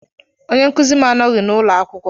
Onye nkuzi m anọghị n'ụlọ akwụkwọ.